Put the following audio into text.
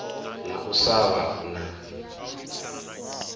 na u sa vha na